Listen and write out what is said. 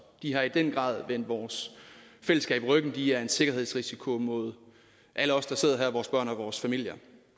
de har i den grad vendt vores fællesskab ryggen de er en sikkerhedsrisiko mod alle os der sidder her vores børn og vores familier